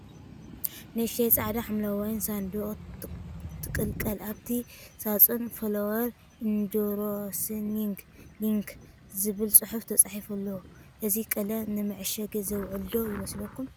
ንእሽቶ ጻዕዳን ሐምላይን ሳንዱቕ ትቕልቀል። ኣብቲ ሳጹን "Flower ENDORSING INK" ዝብል ጽሑፍ ተጻሒፉሉ ኣሎ። እዚ ቀለም ንመዕሸጊ ዝውዕል ዶ ይመስለኩም?